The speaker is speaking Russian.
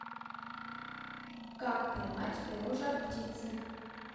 как поймать перо жар птицы